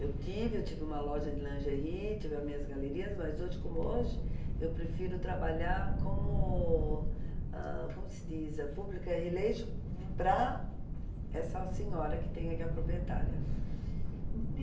Eu tive, eu tive uma loja de lingerie, tive as minhas galerias, mas hoje como hoje, eu prefiro trabalhar como, ãh, como se diz? A pública relation para essa senhora que tem aqui a proprietária.